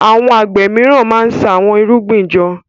Àwọn àgbẹ míràn má ṣa Àwọn irúgbìn jọ.